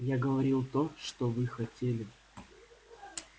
я говорил то что вы хотели